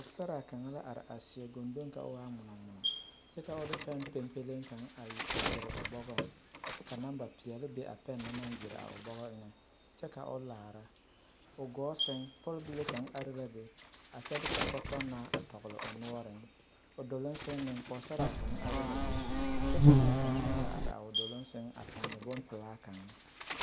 Pɔɡesaraa kaŋ la are a seɛ ɡondoŋ ka o waa ŋmonɔŋmonɔ kyɛ ka o de pɛn pempeleŋ kaŋ a ɡyere o bɔɡɔŋ kyɛ ka namba peɛle be a pɛne na naŋ ɡyere a o bɔɡɔ eŋɛ kyɛ ka o laara o ɡɔɔ sɛŋ pɔlibile kaŋ are la be a kyɛ de kɔkɔtɔnaa a tɔɡele o noɔreŋ o doloŋ sɛŋ meŋ pɔɡesaraa kaŋ are la be kyɛ ka neɛ kaŋ meŋ la are o doloŋ sɛŋ a pɔne bompelaa.